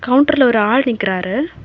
கவுண்டர்ல ஒரு ஆள் நிக்கிறாரு.